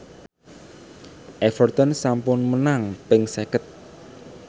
Everton sampun menang ping seket